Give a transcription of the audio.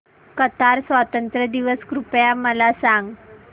Qatar स्वातंत्र्य दिवस कृपया मला सांगा